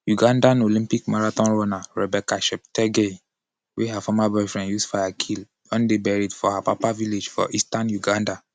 ugandan olympic marathon runner rebecca cheptegei wey her former boyfriend use fire kill don dey buried for her papa village for eastern uganda.